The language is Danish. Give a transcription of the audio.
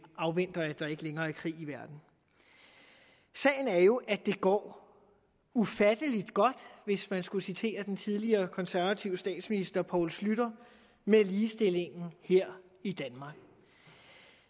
afventer at der ikke længere er krig i verden sagen er jo at det går ufattelig godt hvis man skulle citere den tidligere konservative statsminister poul schlüter med ligestillingen her i